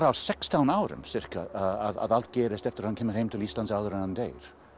sextán árum ca að allt gerist eftir að hann kemur til Íslands áður en hann deyr